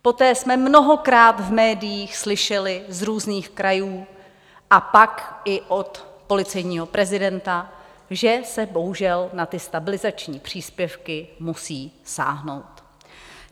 Poté jsme mnohokrát v médiích slyšeli z různých krajů a pak i od policejního prezidenta, že se bohužel na ty stabilizační příspěvky musí sáhnout.